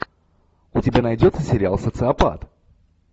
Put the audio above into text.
у тебя найдется сериал социопат